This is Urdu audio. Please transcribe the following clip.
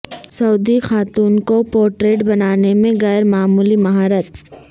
سعودی خاتون کو پورٹریٹ بنانے میں غیر معمولی مہارت